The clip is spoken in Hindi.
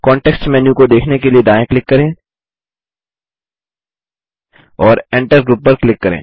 कॉन्टेक्स्ट मेन्यू को देखने के लिए दायाँ क्लिक करें और Enter ग्रुप पर क्लिक करें